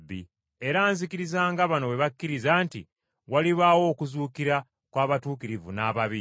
Era nzikiriza, nga bano bwe bakkiriza, nti walibaawo okuzuukira kw’abatuukirivu n’ababi.